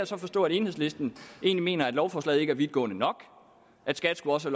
så forstå at enhedslisten egentlig mener at lovforslaget ikke er vidtgående nok at skat også